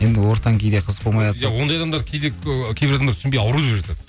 енді ортаң кейде қызық бомайатса ондай адамдарды кейде кейбір адам түсінбей ауру деп жатады